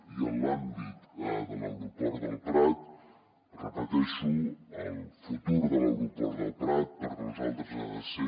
i en l’àmbit de l’aeroport del prat ho repeteixo el futur de l’aeroport del prat per nosaltres ha de ser